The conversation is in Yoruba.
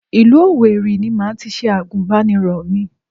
Ìlú Òwèrì ni màá tis ̣e Àgùnbánirọ̀ mi